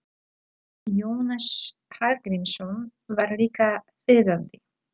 Jónas Hallgrímsson var líka þýðandi.